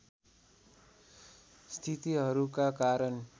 स्थितिहरूका कारण